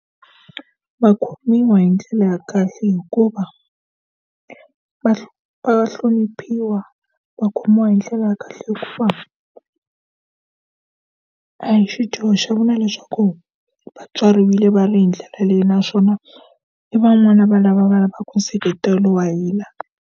Va khomiwa hi ndlela ya kahle hikuva va va hloniphiwa, va khomiwa hi ndlela ya kahle hikuva a hi xidyoho xa vona leswaku vatswari va ri hi ndlela leyi naswona, i van'wana va lava va lavaka nseketelo wa hina.